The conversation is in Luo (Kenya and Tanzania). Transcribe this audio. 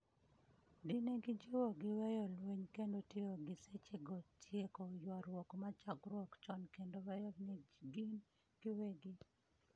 di negijiwogi weyo lweny kendo tiyo gi seche go tieko ywaruok machakruok chon kendo weyo ne gin giwegi